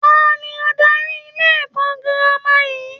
Ta ni adarí ilé-ẹ̀kọ́ girama yìí?